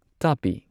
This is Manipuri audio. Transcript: ꯇꯥꯄꯤ